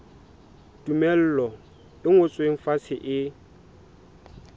tumello e ngotsweng fatshe e